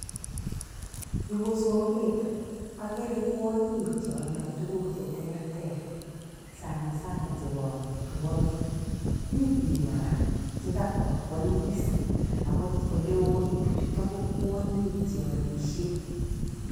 Yu ko soket. Akere kwonyiik chealdoi tuguk cheterter sana sana chebo amitwogik. Mi biik kora che kakwa koaliis, ako oleoo eng bichutok ko kwonyiik chealisiei.